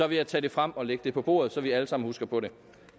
vil jeg tage det frem og lægge det på bordet så vi alle sammen husker på det